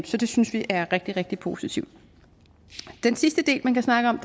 så det synes vi er rigtig rigtig positivt den sidste del man kan snakke om